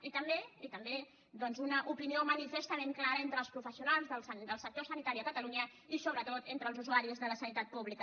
i també i també una opinió manifestament clara entre els professionals del sector sanitari a catalunya i sobretot entre els usuaris de la sanitat pública